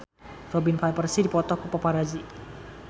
Robin Van Persie dipoto ku paparazi